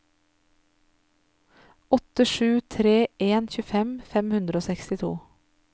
åtte sju tre en tjuefem fem hundre og sekstito